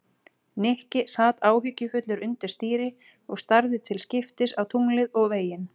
Nikki sat áhyggjufullur undir stýri og starði til skiptist á tunglið og veginn.